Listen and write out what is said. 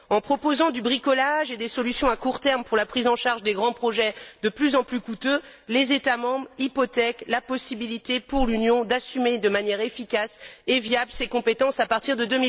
En proposant du bricolage et des solutions à court terme pour la prise en charge des grands projets de plus en plus coûteux, les États membres hypothèquent la possibilité pour l'Union d'assumer d'une manière efficace et viable ses compétences à partir de